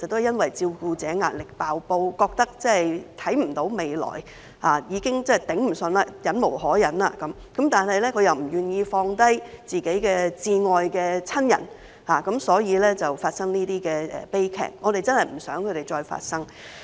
因為照顧者的壓力"爆煲"，感覺看不到未來，已經支持不住，忍無可忍，但他們又不願意放下自己至愛的親人，因而發生這些悲劇，我們真的不想再發生。